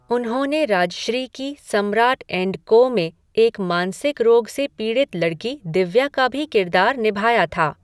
उन्होंने राजश्री की Samrat and Co में एक मानसिक रोग से पीड़ित लड़की दिव्या का भी किरदार निभाया था।